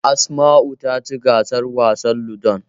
Asma'u ta ci gasar wasan Ludon.